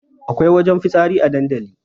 Akwai wajen fitsari a dandali